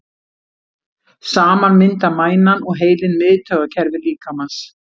Saman mynda mænan og heilinn miðtaugakerfi líkamans.